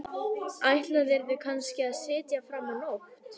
Ætlaðirðu kannski að sitja fram á nótt?